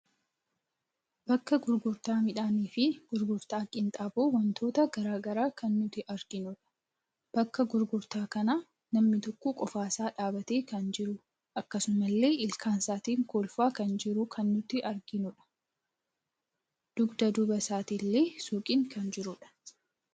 Bakka gurgurtaa miidhaniii fi gurgurta qinxaaboo wantoota garagaraa kan nuti arginudha. Bakka gurgurta kana namni tokko qofa isa dhabbate kan jitu, akkasumalle ilkaan isaatiin kolfa kan jiru kan nuti arginudha. Dugda duuba isaatiin illee suuqiin kan jirudha.